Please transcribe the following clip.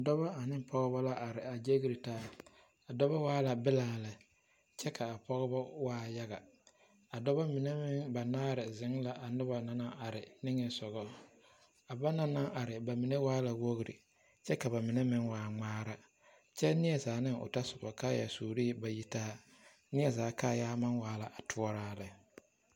Dɔbɔ ane pɔɔbɔ la are a ɡyeere taa a dɔbɔ waa la bilaa lɛ kyɛ ka a pɔɔbɔ waa yaɡa a dɔbɔ mine banaare zeŋ la a noba na mine niŋe soɡa a banaŋ na are ba mine waa la woori kyɛ ka ba mine waa ŋmaara kyɛ neɛzaa ne o tɔsobɔ kaayɛsuuri ba yitaa neɛ zaa kaayaa maŋ waa la a toɔraa lɛ.